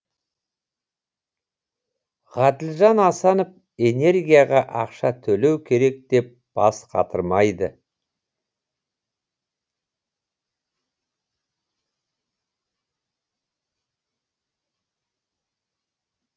ғаділжан асанов энергияға ақша төлеу керек деп бас қатырмайды